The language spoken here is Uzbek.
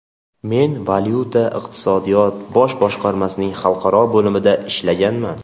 Men valyuta-iqtisodiyot bosh boshqarmasining xalqaro bo‘limida ishlaganman.